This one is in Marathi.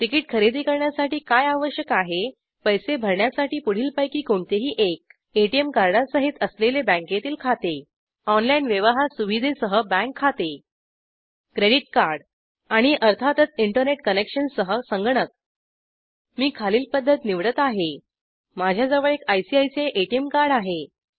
तिकीट खरेदी करण्यासाठी काय आवश्यक आहे पैसे भरण्यासाठी पुढीलपैकी कोणतेही एक एटिएम कार्डासहित असलेले बँकेतील खाते ऑनलाइन व्यवहार सुविधेसह बँक खाते क्रेडिट कार्ड आणि अर्थातच इंटरनेट कनेक्शनसह संगणक मी खालील पद्धत निवडत आहे माझ्याजवळ एक आयसीआयसीआय एटीएम कार्ड आहे